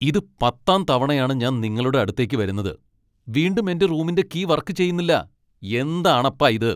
ഇത് പത്താം തവണയാണ് ഞാൻ നിങ്ങളുടെ അടുത്തേക്ക് വരുന്നത്. വീണ്ടും എന്റെ റൂമിന്റെ കീ വർക്ക് ചെയ്യുന്നില്ല . എന്താണപ്പാ ഇത്?